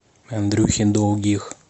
андрюхе долгих